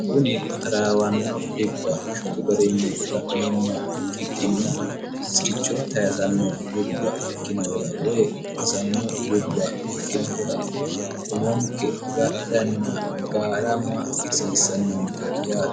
kuni taraawanno dhibba shotu garinni la'neemmoha ikkikkinni siricho tayisanno dhibba ikkinohura woy qarisanno dhibba ikkinohura umonke agadhanna gaarama hasiissannonke yaati